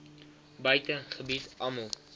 buite gebied almal